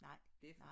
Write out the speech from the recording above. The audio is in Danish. Nej nej